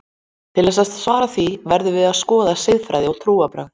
Til þess að svara því verðum við að skoða siðfræði og trúarbrögð.